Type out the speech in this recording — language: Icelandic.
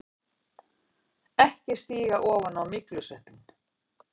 EKKI STÍGA OFAN Á MYGLUSVEPPINN!